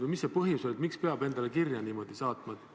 Või mis see põhjus oli, miks peab endale niimoodi kirja saatma?